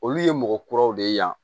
Olu ye mɔgɔ kuraw de ye yan